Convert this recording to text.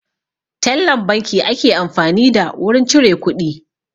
Tellan banki ake amfani da wurin cire kuɗi